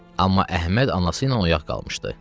Amma Əhməd anası ilə oyaq qalmışdı.